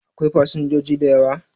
Akwai fasinjoji da yawa?